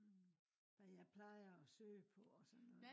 hvad jeg plejer at søge på og sådan noget